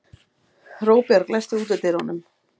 Róbjörg, læstu útidyrunum.